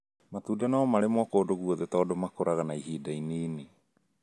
Matunda no marĩmwo kũndũ guothe tondũ makũraga na ihinda inini